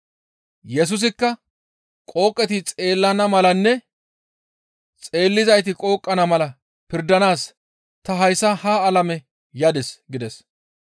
Yesusikka, «Qooqeti xeellana malanne xeellizayti qooqana mala pirdanaas ta hayssa ha alame yadis» gides.